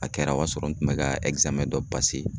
A kɛra o y'a sɔrɔ n tun bɛ ka dɔ